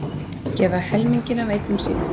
Gefa helminginn af eignum sínum